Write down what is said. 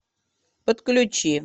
подключи